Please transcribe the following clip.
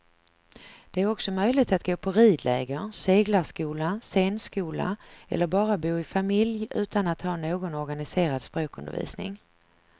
Det är också möjligt att gå på ridläger, seglarskola, scenskola eller bara bo i familj utan att ha någon organiserad språkundervisning.